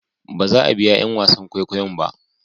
baza a biya 'yan wasan kwaikwayon ba